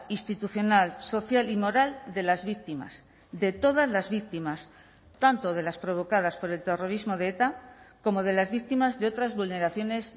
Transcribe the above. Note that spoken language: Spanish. institucional social y moral de las víctimas de todas las víctimas tanto de las provocadas por el terrorismo de eta como de las víctimas de otras vulneraciones